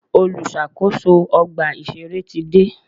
Olùṣàkóso ọgbà ìṣẹ̀rẹ́ ti dé.